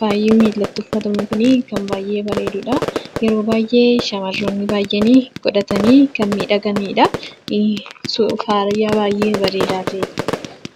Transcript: Faayaan miilatti uffatamu kun kan baay'ee bareedudha. Yeroo shamarroonni baay'een godhatanii kan miidhaganidha. Faayaa baay'ee bareedaa ta'edha.